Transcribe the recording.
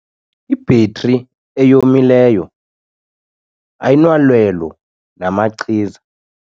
Ibhetri eyomileyo ayinalwelo namachiza.